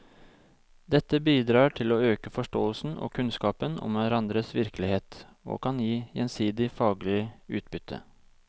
Dette bidrar til å øke forståelsen og kunnskapen om hverandres virkelighet og kan gi gjensidig faglig utbytte.